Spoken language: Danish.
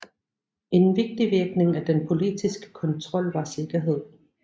En vigtig virkning af den politiske kontrol var sikkerhed